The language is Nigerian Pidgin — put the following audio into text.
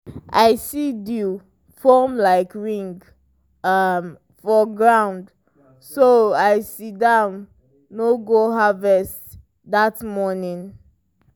i see dew form like ring um for ground so i sidon no go harvest that morning.